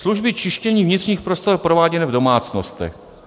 Služby čištění vnitřních prostor prováděné v domácnostech.